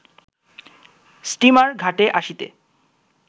steamer ঘাটে আসিতে